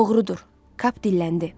Doğrudur, Kap dilləndi.